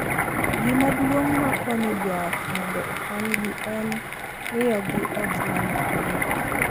Gima duong’ ma konyo joot mondo okonygi en miyogi ot ma nigi le,